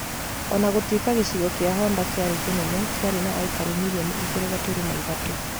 O na gũtuĩka gĩcigo kĩa Honder kĩarĩ kĩnene, kĩarĩ na aikari milioni igĩri gaturuma ithatũ.